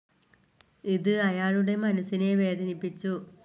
ഇത് അയാളുടെ മനസ്സിനെ വേദനിപ്പിച്ചു.